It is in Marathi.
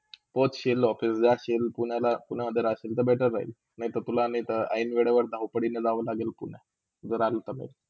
पोचशील office जाशील कुणला, कुणकडे राशील तर better राहील. नायतिल तुला नायते आई - वडिलच्या धावपडील जाऊ लागले तुला जर आला तर.